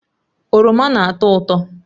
Oroma na-atọ ụtọ